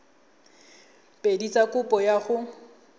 pedi tsa kopo ya go